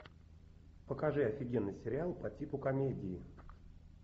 покажи офигенный сериал по типу комедии